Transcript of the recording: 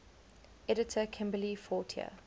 editor kimberly fortier